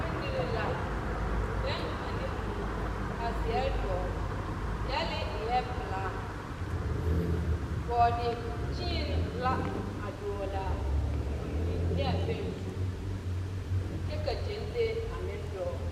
Bondirii la, bɛŋ ane mui, ka zeɛre dɔgle. Gyɛlee eɛ pelaa. Bɔɔde-kyeen la, a dɔgle a, a mui ne a bɛŋ zu, kyɛ ka gyɛnlee a meŋ dɔgle.